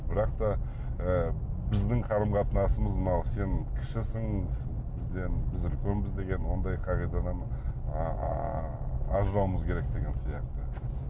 бірақ та ы біздің қарым қатынасымыз мына сен кішісің бізден біз үлкенбіз деген ондай қағидадан ыыы ажырауымыз керек деген сияқты